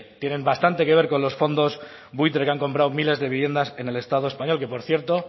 tienen bastante que ver con los fondos buitre que han comprado miles de viviendas en el estado español que por cierto